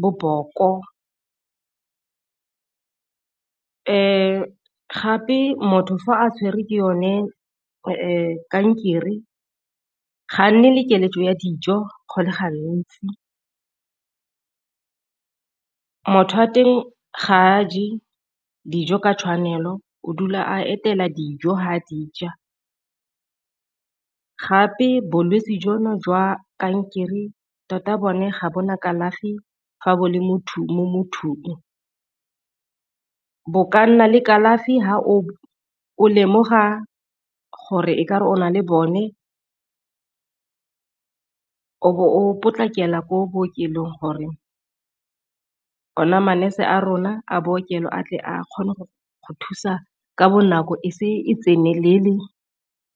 boboko, gape motho fa a tshwerwe ke yone kankere ga a nne le keletso ya dijo go le gantsi. Motho wa teng ga a je dijo ka tshwanelo o dula a etela dijo fa a di ja, gape bolwetsi jono jwa kankere tota bone ga bo na kalafi fa bo le motho mo mothong. Bo ka nna le kalafi fa o lemoga gore e kare o na le bone, o be o potlakela ko bookelong gore ona man-nurse a rona a bookelo a tle a kgone go go thusa ka bonako e se e tsenelele.